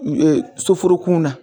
Soforokun na